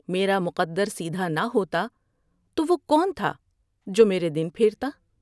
میرا مقد رسید ھا نہ ہوتا تو وہ کون تھا جو میرے دن پھیرتا ۔